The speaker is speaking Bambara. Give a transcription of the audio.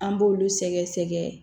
An b'olu sɛgɛ sɛgɛ